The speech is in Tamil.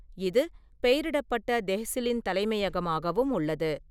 இது பெயரிடப்பட்ட தெஹ்சிலின் தலைமையகமாகவும் உள்ளது.